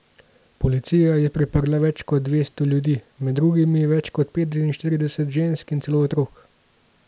Policija je priprla več kot dvesto ljudi, med drugim več kot petinštirideset žensk in celo otrok.